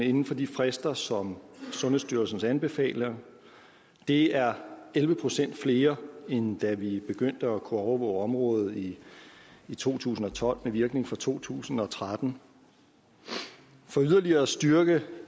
inden for de frister som sundhedsstyrelsen anbefaler det er elleve procent flere end da vi begyndte at kunne overvåge området i to tusind og tolv med virkning fra to tusind og tretten for yderligere at styrke